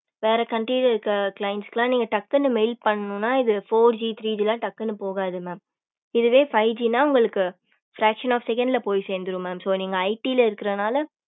வேற country ல இருக்க clients ல்லாம் நீங்க டக்குனு mail பண்ணனு னா நீங்க four G three G எல்லாம் டக்குனு போகாது mam இதுவே five G னா உங்களுக்கு fraction of seconds ல போய் சேர்ந்திடு mam so நீங்க IT ல இருக்கறதுனால